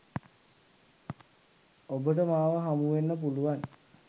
ඔබට මාව හමුවෙන්න පුළුවන්.